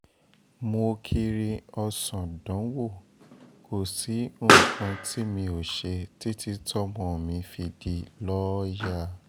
mo kiri ọ̀sán dánwò kò sí nǹkan tí mi ò ṣe títí tọ́mọ mi fi di lọ́ọ́yà